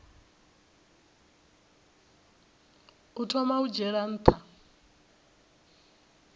u thoma u dzhiela nha